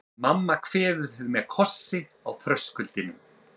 Mamma kveður mig með kossi á þröskuldinum.